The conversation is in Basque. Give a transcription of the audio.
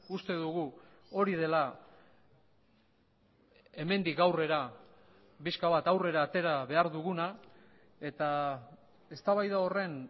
uste dugu hori dela hemendik aurrera pixka bat aurrera atera behar duguna eta eztabaida horren